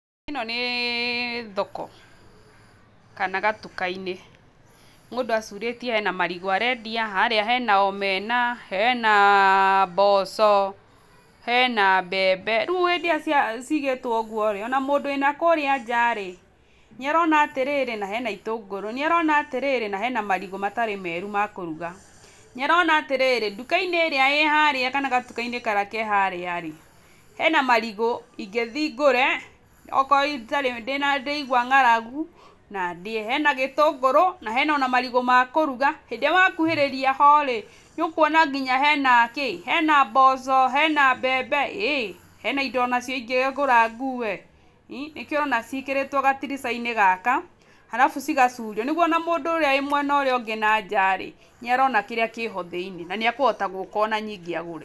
Ĩno nĩ thoko kana gatuka-inĩ. Mũndũ acurĩtie hena marigũ arendia, harĩa hena omena, hena mboco, hena mbembe, rĩu hĩndĩ ĩrĩa cigĩtwo ũgũo-rĩ, ona mũndũ wĩna kũrĩa njaa-rĩ nĩ arona atĩrĩrĩ, na hena itũngũrũ, nĩ arona atĩrĩrĩ na hena marigũ matarĩ meru ma kũruga. Nĩarona atĩrĩrĩ, nduka-inĩ ĩrĩa ĩ harĩa kana gatuka-inĩ karĩa ke harĩa-rĩ hena marigũ ingĩthi ngũre, okorwo ndĩraigua ng'aragu na ndĩe. Hena gĩtũngũrũ, hena ona marigũ ma kũruga, hĩndĩ ĩrĩa wakuhĩrĩria ho-rĩ nĩũkuona nginya hena kĩ?, hena mboco, hena mbembe-ĩ hena indo onacio ingĩgũra ngũe. Nĩkĩo ũrona ciĩkĩrĩtwo gatirica-inĩ gaka, arabu cigacurio. Nĩguo ona mũndũ ũrĩa wĩ mwena ũrĩa ungĩ nanja-rĩ nĩarona kĩrĩa kĩho thĩini na niekũhota gũka ona nyingĩ agũre.